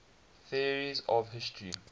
theories of history